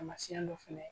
Taamasiyɛn dɔ fana ye